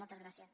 moltes gràcies